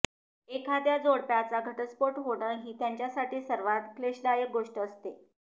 एखाद्या जोडप्याचा घटस्फोट होणं ही त्यांच्यासाठी सर्वात क्लेशदायक गोष्ट असते